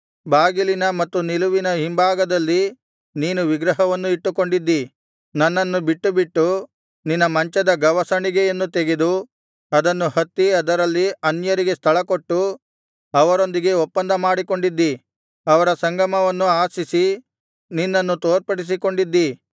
ಬಾಗಿಲಿನ ಮತ್ತು ನಿಲುವಿನ ಹಿಂಭಾಗದಲ್ಲಿ ನೀನು ವಿಗ್ರಹವನ್ನು ಇಟ್ಟುಕೊಂಡಿದ್ದಿ ನನ್ನನ್ನು ಬಿಟ್ಟುಬಿಟ್ಟು ನಿನ್ನ ಮಂಚದ ಗವಸಣಿಗೆಯನ್ನು ತೆಗೆದು ಅದನ್ನು ಹತ್ತಿ ಅದರಲ್ಲಿ ಅನ್ಯರಿಗೆ ಸ್ಥಳಕೊಟ್ಟು ಅವರೊಂದಿಗೆ ಒಪ್ಪಂದ ಮಾಡಿಕೊಂಡಿದ್ದಿ ಅವರ ಸಂಗಮವನ್ನು ಆಶಿಸಿ ನಿನ್ನನ್ನು ತೋರ್ಪಡಿಸಿಕೊಂಡಿದ್ದಿ